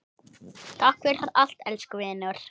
Takk fyrir allt, elsku vinur.